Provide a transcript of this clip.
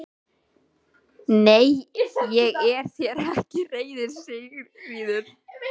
Nei, ég er þér ekki reiður Sigríður.